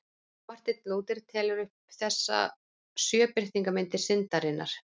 Marteinn Lúther telur upp þessar sjö birtingarmyndir syndarinnar.